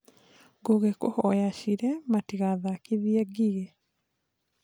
Njũgĩ kũhoya Cire matigathakithie Ngigĩ